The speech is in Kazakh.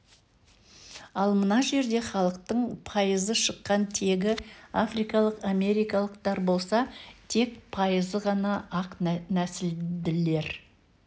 ал мына жерде халықтың пайызы шыққан тегі африкалық америкалықтар болса тек пайызы ғана ақ нәсілділер